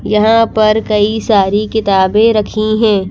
यहां पर कई सारी किताबें रखी हैं।